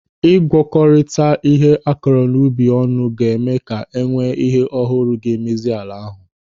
Ị gwakorita ihe akụrụ n'ubi ọnụ ga-eme ka enwee ihe ọhụrụ ga-emezi ala ahụ.